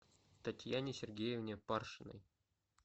татьяне сергеевне паршиной